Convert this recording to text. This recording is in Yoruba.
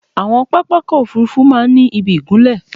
Àwọn pápákọ̀ òfúrufú máa ń ni ìbí ìgunlẹ̀